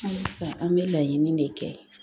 Halisa an bɛ laɲini de kɛ